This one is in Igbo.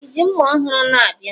i ji mma ọhụrụ a na-abịa?